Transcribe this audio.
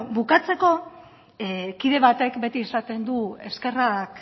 bueno bukatzeko kide batek beti esaten du eskerrak